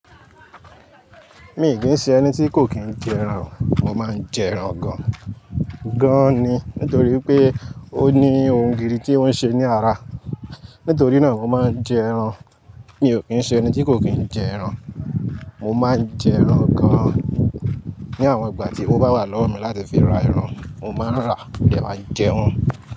Mi kì í ṣe ẹni tí kò kín jẹ ẹran o, mo máa ń jẹ ẹran gan. Gán ni nítorí pé ó ní ohun gidi tí ọ́n ń ṣe ní ara. Nítorí náà mo máa ń jẹ ẹran. Mi ò kín ṣe ẹni tí kò kín jẹ ẹran. Mo máa ń jẹ ẹran gan-an. Ni àwọn ìgbà tí ó bá wà lọ́wọ́ mi láti fi ra ẹran, mo máa ń rà, modẹ máa ń jẹ wọ́n.